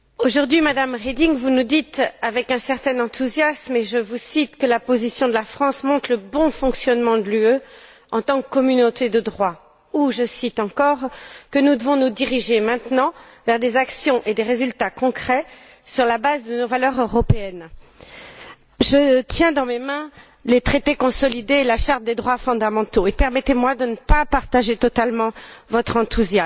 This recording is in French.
Madame la Présidente, vous nous dites aujourd'hui, Madame Reding, avec un certain enthousiasme, et je vous cite, que la position de la France montre le bon fonctionnement de l'UE en tant que communauté de droit ou, je cite encore, que nous devons nous diriger maintenant vers des actions et des résultats concrets sur la base de nos valeurs européennes. Je tiens dans mes mains les traités consolidés et la Charte des droits fondamentaux, et permettez moi de ne pas partager totalement votre enthousiasme.